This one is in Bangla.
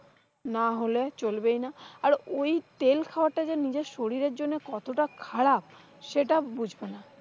না হলে চলবেই না। আর ওই তেল খাওয়ার টা যে নিজের শরীরের জন্য কতটা খারাপ সেটা বুঝবে না।